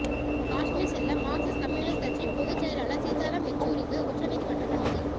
காஷ்மீர் செல்ல Marxist communist கட்சி பொதுச் செயலாளர் சீதாராம் யெச்சூரிக்கு உச்ச நீதிமன்றம் அனுமதி